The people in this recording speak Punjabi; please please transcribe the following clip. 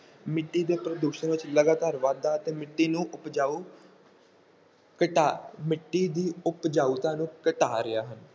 ਮਿੱਟੀ ਦੇ ਪ੍ਰਦੂਸ਼ਣ ਵਿੱਚ ਲਗਾਤਾਰ ਵਾਧਾ ਤੇ ਮਿੱਟੀ ਨੂੰ ਉਪਜਾਊ ਘਟਾ ਮਿੱਟੀ ਦੀ ਉਪਜਾਊਤਾ ਨੂੰ ਘਟਾ ਰਿਹਾ ਹੈ।